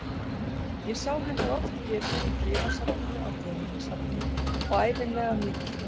Ég sá hennar oft getið í bréfasafninu á Þjóðminjasafninu og ævinlega af mikilli virðingu.